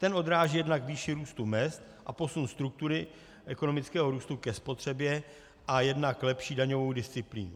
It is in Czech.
Ten odráží jednak výši růstu mezd a posun struktury ekonomického růstu ke spotřebě a jednak lepší daňovou disciplínu.